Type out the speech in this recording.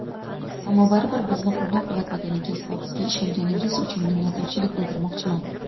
ammo baribir bizni qo‘llab-quvvatlaganingiz va doim bizga ishonganingiz uchun minnatdorchilik bildirmoqchiman.